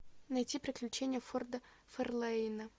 найти приключения форда ферлейна